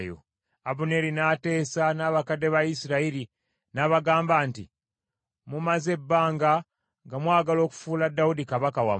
Abuneeri n’ateesa n’abakadde ba Isirayiri, n’abagamba nti, “Mumaze ebbanga nga mwagala okufuula Dawudi kabaka wammwe.